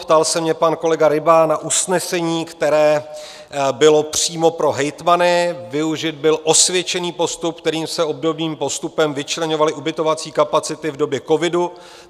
Ptal se mě pan kolega Ryba na usnesení, které bylo přímo pro hejtmany, využit byl osvědčený postup, kterým se, obdobným postupem, vyčleňovaly ubytovací kapacity v době covidu.